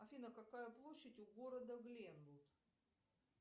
афина какая площадь у города гленвуд